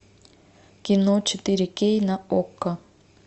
кино четыре кей на окко